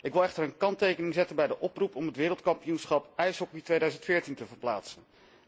Ik wil echter een kanttekening plaatsen bij de oproep om het Wereldkampioenschap ijshockey 2014 te verplaatsen.